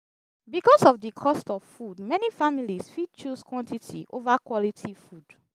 because of di cost of food many families fit choose quantity over quality food